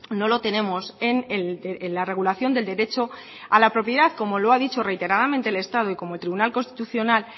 no lo tenemos en la regulación del derecho a la propiedad como lo ha dicho reiteradamente el estado y como el tribunal constitucional